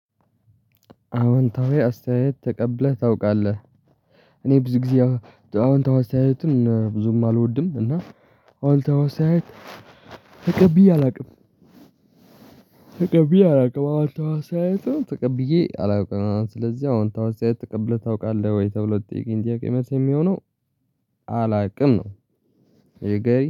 አዎንታዊ አስተያየት ተቀብለህ ታውቃለህ? እኔ ብዙ ጊዜ አዎንታዊ አስተያየትን ብዙም አልወድም። እና አወንታዋ አስተያየት ተቀብዬ አላውቅም። እና ስለዚህ አዎንታዊ መልስ ተቀብለህ ታውቃለህ? ለሚለው መልስ የሚሆነው አላውቅም ነው። ዩ ጋይ